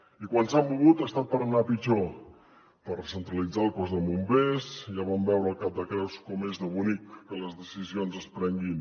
i quan s’han mogut ha estat per anar a pitjor per recentralitzar el cos de bombers ja vam veure al cap de creus com és de bonic que les decisions es prenguin